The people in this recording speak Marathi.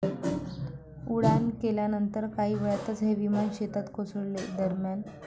उड्डाण केल्यानंतर काही वेळातच हे विमान शेतात कोसळले. दरम्यान,.